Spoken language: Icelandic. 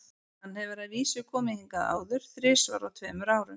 Hann hefur að vísu komið hingað áður, þrisvar á tveimur árum.